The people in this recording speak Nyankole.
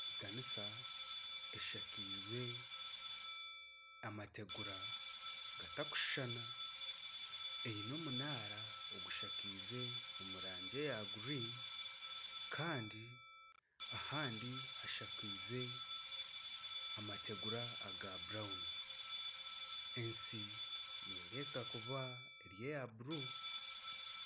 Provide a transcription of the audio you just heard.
Ekanisa eshakize amategura gatakushushana. Eine omunaara ogushakize omurangi eya gurini Kandi ahandi hashakize amategura aga burawunu. Ensi nerebeka kuba eri eya bururu.